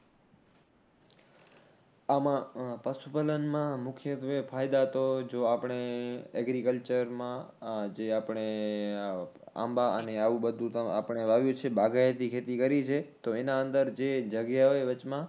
આમાં પશુ પાલનમાં મુખ્યત્વે ફાયદા તો જો આપણે agriculture માં જે આપણે આંબા અને આવું બધુ આપણે વાવ્યું છે, બાગાયતી ખેતી કરી છે તો એના અંદર જે જગ્યા હોય વચમાં